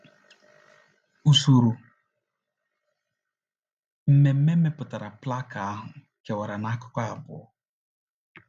Usoro mmemme metụtara plaka ahụ kewara n’akụkụ abụọ.